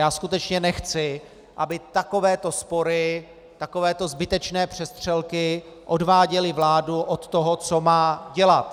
Já skutečně nechci, aby takovéto spory, takovéto zbytečné přestřelky, odváděly vládu od toho, co má dělat.